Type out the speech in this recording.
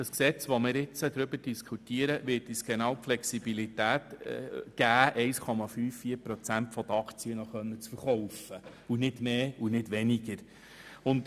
Das vorliegende Gesetz wird uns die Flexibilität geben, genau 1,54 Prozent der Aktien zu verkaufen, nicht mehr und nicht weniger.